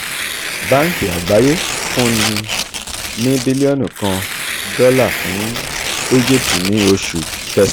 banki agbaye funni ni bilionu kan dọla fun egypt ni oṣu um kẹsan.